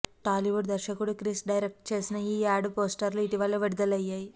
టాలీవుడ్ దర్శకుడు క్రిష్ డైరెక్ట్ చేసిన ఈ యాడ్ పోస్టర్స్ ఇటీవల విడుదలయ్యాయి